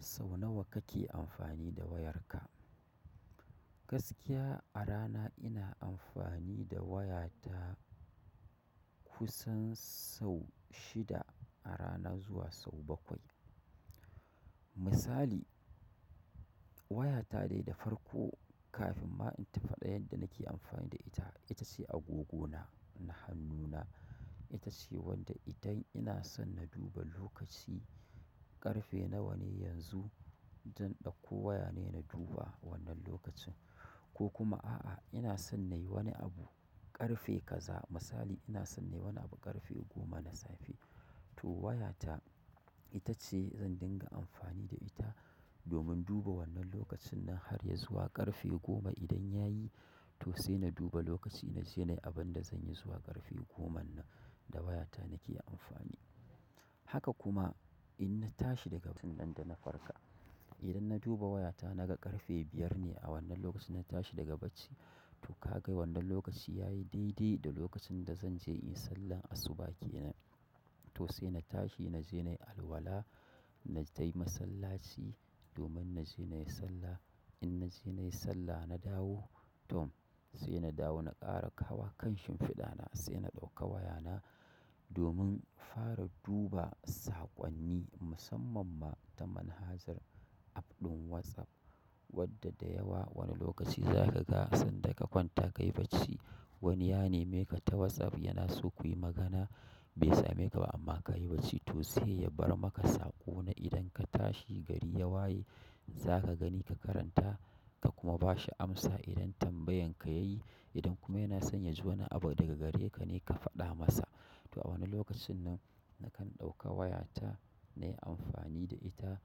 Sau nawa kake amfani da wayarka? Gaskiya a rana ina amfani da wayata kusan sau shida a rana zuwa sau bakwai. Misali, wayata dai da farko kafin ma in tafa ɗan yanda nake amfani da ita, ita ce agogona na hannuna. Itace wacce idan ina son in duba lokaci ƙarfe nawa ne yanzu zan ɗakko wayane in duba wannan lokacin ko kuma a'a, ina son na yi wani abu ƙarfe kaza misali ina son na yi wani abu ƙarfe goma na safe, to wayata ita ce zan dinga amfani da ita domin duba wannan lokacin na harya zuwa ƙarfe goma idan ya yi, to sai na duba lokaci na je na yi abin da zan yi zuwa ƙarfe goman nan da wayata nake amfani. Haka kuma in na tashi daga bacin nan da na farka, idan na duba wayata naga ƙarfe biyar ne a wannan lokacin na tashi daga bacci, to ka ga wannan lokaci ya yi daidai da lokacin da zan je in yi sallan asuba ke nan. To sai na tashi na je na yi alwala, na je masallaci domin na je na yi sallah. In na je na yi sallah na dawo, tom sai na dawo na ƙara kawa kan shimfiɗa na sai na ɗauka wayana domin fara duba saƙonni musamman ma ta manhajar app ɗin WhatsApp wadda da yawa wani lokaci za ka ga sanda ka kwanta ka yi bacci wani ya nema ka ta WhatsApp kuyi magana bai same ka ba amma kayi bacci sai ya bar maka saƙo na idan ka tashi gari ya waye za ka gani ka karanta ka kuma ba shi amsa idan tambayan ka ya yi. Idan kuma yana son ya ji wani abu daga gare ka ne ka faɗa masa. To a wannan lokacin nan nakan ɗauka wayata na yi amfani da ita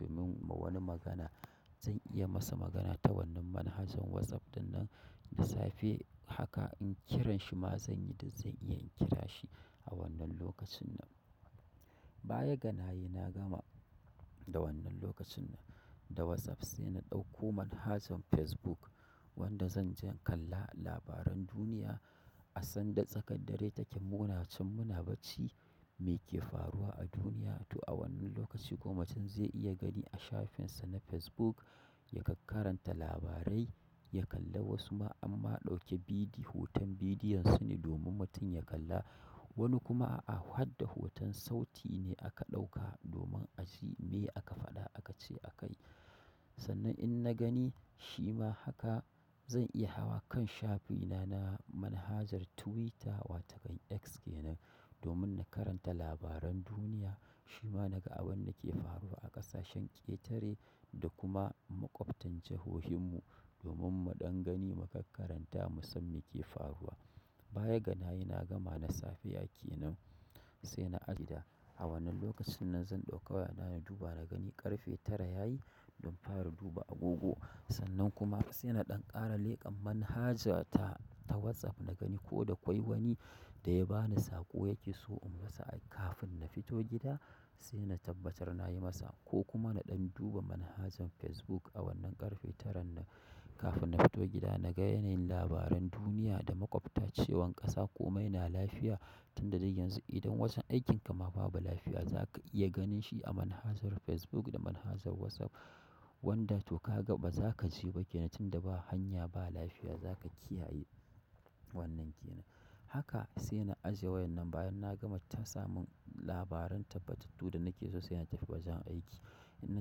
domin ma wani magana zan iya masa magana ta wannan manhajar WhatsApp dinnan da safe haka in kiran shi ma zan yi da zan iya in kira shi a wannan lokacin nan. Baya ganayi na gama da wannan lokacin nan da WhatsApp sai na ɗauko manhajar Facebook wanda zan je in kalla labaran duniya asan da tsakar dare take muna can muna bacci me ke faruwa a duniya. To a wannan lokaci ko mutum zai iya gani a shafinsa na Facebook yakak karanta labarai, ya kalla wasu ma amma a ɗauke bidiyo hoton bidiyon su ne domin mutum ya kalla. Wani kuma a hadda hoton sauti ne aka ɗauka domin a ji meye aka faɗa aka ce a kai. Sannan in na gani shi ma haka zan iya hawa kan shafina na manhajar Twitter wata kan X ke nan domin na karanta labaran duniya. Shi ma naga abin da ke faruwa a ƙasashen ƙetare da kuma maƙwabtan jahohinmu domin mu ɗan gani mu kak karanta mu san me ke faruwa. Bayaga nayi na gama na safiy ke nan sai na ajiye. A wannan lokacin nan zan ɗauka wayana na duba na gani ƙarfe tara ya yi don fara duba agogo. Sannan kuma sai na ɗan ƙara leƙan manhajarta ta WhatsApp na gani ko da kawai wani da ya ba ni saƙo yake so in masa kafin na fito gida sai na tabbatar na yi masa. Ko kuma na ɗan duba manhajar Facebook a wannan ƙarfe taran nan kafin na fito gida naga yanayin labaran duniya da maƙwabta cewan ƙasa komai na lafiya tun da dai yanzu idan wajen aikin ka ma babu lafiya za ka iya ganin shi a manhajar Facebook da manhajar WhatsApp wanda to ka ga ba za ka je ba ke nan tunda ba hanya ba lafiya za ka kiyaye wannan ke nan. Haka sai na ajiye wayan nan bayan na gama ta samun labaran tabbatattu da nake so sai na tafi wajen aiki. In na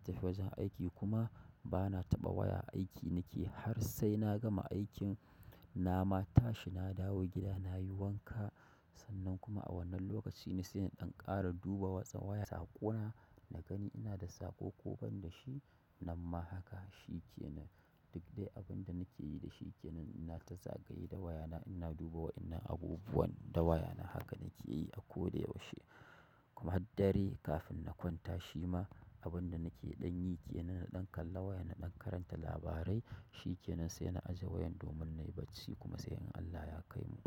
tafi wajen aiki kuma bana taɓa waya aiki nake har sai na gama aikin na ma tashi na dawo gida na yi wanka sannan kuma a wannan lokaci ne sai in ɗan ƙara duba watsa waya saƙona na gani ina da saƙo ko ban da shi. Nan ma haka shi ke nan duk dai abin da nake yi da shi ke nan ina ta zagaye da wayana ina duba wa ina abubuwan da wayana haka nake yi a ko da yaushe. Kuma dare kafin na kwanta abin da nake ɗan yi da waya na ɗan karanta labarai shi kenan sai na aje waya sai gobe Allah ya kaimu.